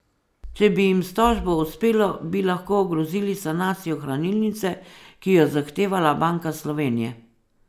Če bi jim s tožbo uspelo, bi lahko ogrozili sanacijo hranilnice, ki jo je zahtevala Banka Slovenije.